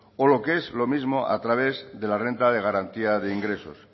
o lo que es lo mismo a través de la renta de garantía de ingresos